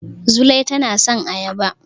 Zulai tana son ayaba.